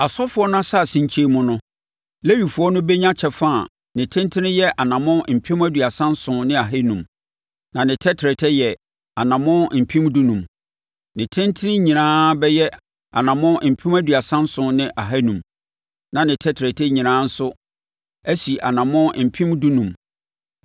“Asɔfoɔ no asase nkyɛn mu no, Lewifoɔ no bɛnya kyɛfa a ne tentene yɛ anammɔn mpem aduasa nson ne ahanum (37,500), na ne tɛtrɛtɛ yɛ anammɔn mpem dunum (15,000). Ne tentene nyinaa bɛyɛ anammɔn mpem aduasa nson ne ahanum (37,500), na ne tɛtrɛtɛ nyinaa nso asi anammɔn mpem dunum (15,000).